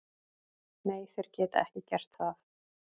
Nei, þeir geta ekki gert það.